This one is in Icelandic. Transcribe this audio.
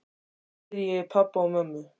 Svo heyri ég í pabba og mömmu.